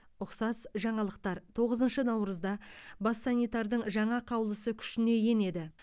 ұқсас жаңалықтар тоғызыншы наурызда бас санитардың жаңа қаулысы күшіне енеді